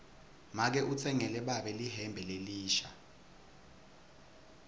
make utsengele babe lihembe lelisha